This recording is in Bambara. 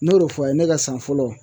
N'o de fɔ a' ye ne ka san fɔlɔ